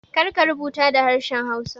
Kar ka rubuta da harshen hausa